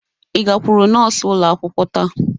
Ị gakwuru nọọsụ ụlọ akwụkwọ taa?